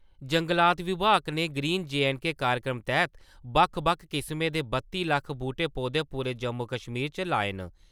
जंगलात विभाग ने ग्रीन जे एण्ड के कार्यक्रम तैह्त बक्ख बक्ख किस्में दे बत्ती लक्ख बूह्टे-पौधे पूरे जम्मू-कश्मीर च लाए न।